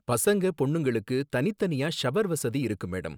பசங்க பொண்ணுங்களுக்கு தனித் தனியா ஷவர் வசதி இருக்கு, மேடம்.